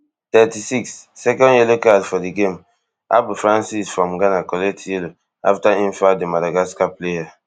thirty-sixsecond yellow card for di game abu francis from ghana collect yellow afta im foul di madagascar player